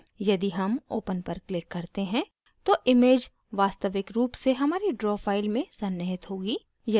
यदि हम open पर click करते हैं तो image वास्तविक रूप से हमारी draw फाइल में सन्निहित होगी